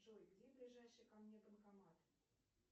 джой где ближайший ко мне банкомат